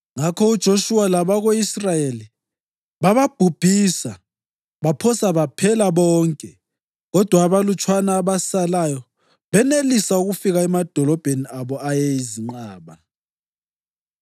Ngakho uJoshuwa labako-Israyeli bababhubhisa baphosa baphela bonke kodwa abalutshwana abasalayo banelisa ukufika emadolobheni abo ayezinqaba.